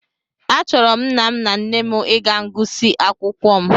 Achọrọ m nna m na nne m ịga ngụsị akwụkwọ m